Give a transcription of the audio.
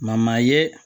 ye